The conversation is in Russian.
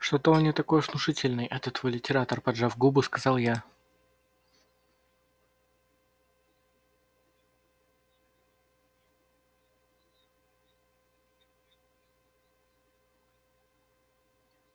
что-то он не такой уж и внушительный этот твой литератор поджав губы сказала я